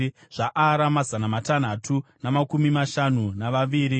zvaAra, mazana matanhatu namakumi mashanu navaviri;